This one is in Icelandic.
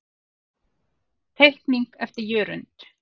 Teikning eftir Jörund.